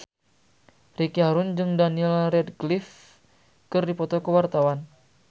Ricky Harun jeung Daniel Radcliffe keur dipoto ku wartawan